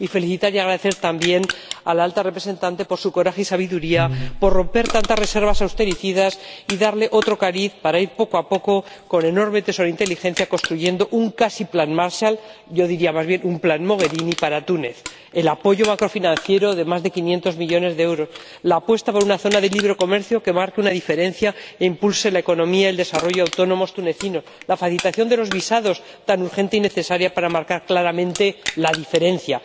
Deseo felicitar y dar las gracias también a la Alta Representante por su coraje y sabiduría, por romper tantas reservas austericidas y darle otro cariz a su labor, para ir poco a poco, con enorme tesón e inteligencia, construyendo un casi Plan Marshall —yo diría más bien un Plan Mogherini— para Túnez el apoyo macrofinanciero de más de 500 millones de euros por la apuesta por una zona de libre comercio que marque una diferencia e impulse la economía y el desarrollo autónomos tunecinos por la facilitación de los visados, tan urgente y necesaria para marcar claramente la diferencia.